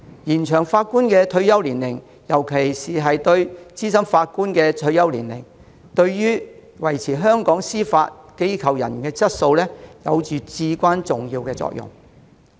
延長法官的退休年齡，尤其是資深法官的退休年齡，對於維持香港司法機構人員的質素，有至關重要的作用。